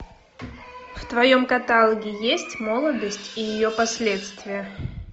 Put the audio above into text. в твоем каталоге есть молодость и ее последствия